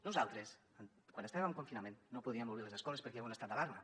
nosaltres quan estàvem en confinament no podíem obrir les escoles perquè hi havia un estat d’alarma